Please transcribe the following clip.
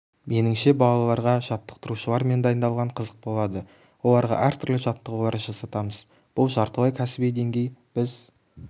меніңше балаларға жаттықтырушылармен дайындалған қызық болады оларға әр түрлі жаттығулар жасатамыз бұл жартылай кәсіби деңгей біз